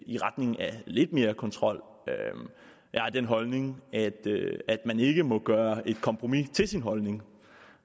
i retning af lidt mere kontrol jeg har den holdning at man ikke må gøre et kompromis til sin holdning